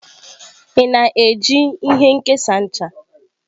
Ị na-eji ihe nkesa ncha?